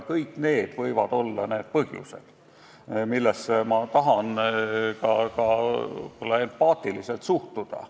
Kõik need põhjused võivad mängus olla ja neisse võib ehk ka empaatiaga suhtuda.